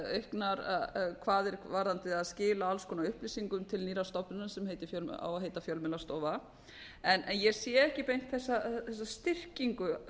auknar kvaðir varðandi að skila alls konar upplýsingum til nýrrar stofnunar sem á að heita fjölmiðlastofa en ég sé ekki beint þessa styrkingu